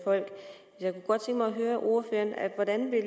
høre ordføreren hvordan vil